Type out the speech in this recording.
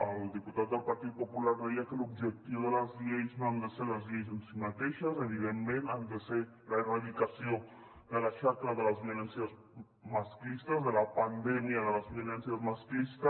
el diputat del partit popular deia que l’objectiu de les lleis no ha de ser les lleis en si mateixes evidentment ha de ser l’erradicació de la xacra de les violències masclistes de la pandèmia de la violència masclista